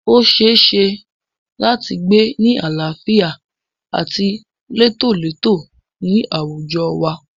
O ṣeéṣe láti gbé ni àlàáfíà àti létólètó ní àwùjọ wa.